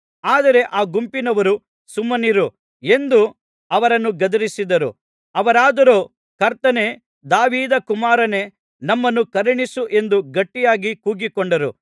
ಆದರೆ ಆ ಗುಂಪಿನವರು ಸುಮ್ಮನಿರಿ ಎಂದು ಅವರನ್ನು ಗದರಿಸಿದರು ಅವರಾದರೋ ಕರ್ತನೇ ದಾವೀದ ಕುಮಾರನೇ ನಮ್ಮನ್ನು ಕರುಣಿಸು ಎಂದು ಗಟ್ಟಿಯಾಗಿ ಕೂಗಿಕೊಂಡರು